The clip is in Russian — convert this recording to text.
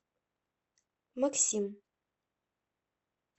максим